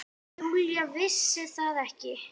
Júlía vissi það ekki.